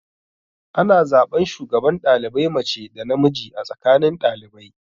Ana zaɓan shugaban ɗalibai mace da namiji a tsakanin ɗalibai.